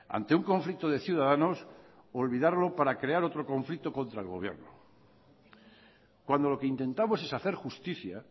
ante un conflicto de ciudadanos olvidarlo para crear otro conflicto contra el gobierno cuando lo que intentamos es hacer justicia